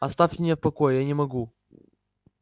оставьте меня в покое я не могу